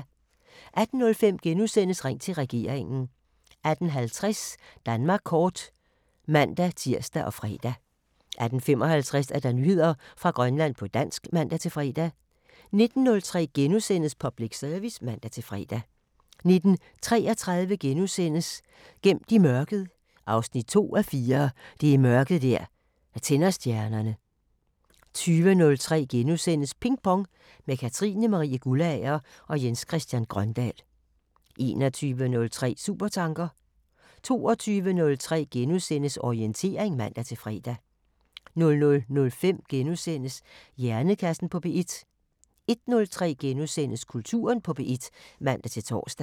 18:05: Ring til Regeringen * 18:50: Danmark kort (man-tir og fre) 18:55: Nyheder fra Grønland på dansk (man-fre) 19:03: Public Service *(man-fre) 19:33: Gemt i mørket 2:4 – Det er mørket der tænder stjernerne * 20:03: Ping Pong – med Katrine Marie Guldager og Jens Christian Grøndahl * 21:03: Supertanker 22:03: Orientering *(man-fre) 00:05: Hjernekassen på P1 * 01:03: Kulturen på P1 *(man-tor)